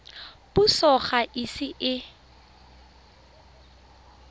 puso ga e ise e